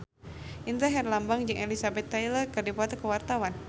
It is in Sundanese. Indra Herlambang jeung Elizabeth Taylor keur dipoto ku wartawan